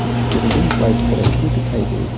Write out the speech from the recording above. कुछ building white colour की दिखाई दे रही--